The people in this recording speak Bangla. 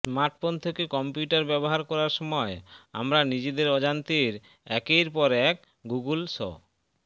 স্মার্টফোন থেকে কম্পিউটার ব্যবহার করার সময় আমরা নিজেদের অজান্তের একের পর এক গুগল স